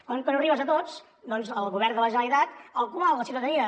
com que no arribes a tots doncs el govern de la generalitat al qual la ciutadania